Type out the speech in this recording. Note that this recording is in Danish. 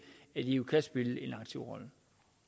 at eu kan spille en aktiv rolle